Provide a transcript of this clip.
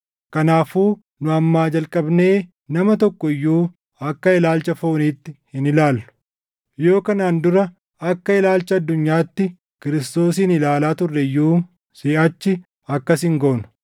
Kanaafuu nu ammaa jalqabnee nama tokko iyyuu akka ilaalcha fooniitti hin ilaallu. Yoo kanaan dura akka ilaalcha addunyaatti Kiristoosin ilaalaa turre iyyuu, siʼachi akkas hin goonu.